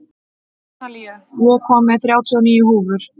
Analía, ég kom með þrjátíu og níu húfur!